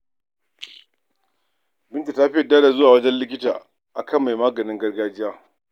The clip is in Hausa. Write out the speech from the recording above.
Binta ta fi yarda da zuwa wajen likita a kan mai maganin gargajiya.